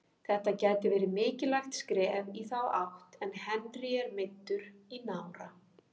Þetta gæti verið mikilvægt skref í þá átt en Henry er meiddur í nára.